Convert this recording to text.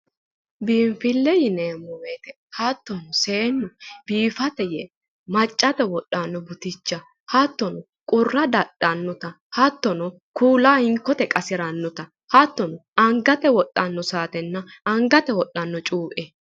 Biinfile yineemmo woyite hattono seennu biifate yee maccate yee Maccate wodhanno buticha hattono qurra dadhannota hattono kuula hinkkote qasirannota hattono angate wodhanno saatenna angate wodhanno cuue.